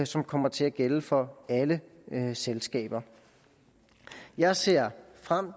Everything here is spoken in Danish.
som kommer til at gælde for alle selskaber jeg ser frem